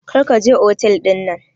Kar ka je otel dinnan.